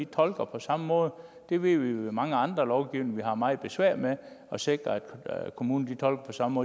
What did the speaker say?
tolker på samme måde det ved vi jo fra mange andre lovgivninger at vi har meget besvær med at sikre altså at kommunerne tolker på samme